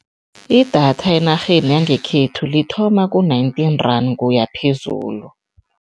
Idatha enarheni yangekhethu lithoma ku-nineteen rand kuya phezulu.